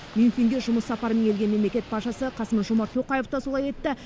мюнхенге жұмыс сапарымен келген мемлекет басшысы қасым жомарт тоқаев да солай етті